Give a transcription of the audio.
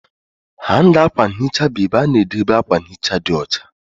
Hanga akwa nhicha bụ ebe a na-edebe akwa nhicha dị ọcha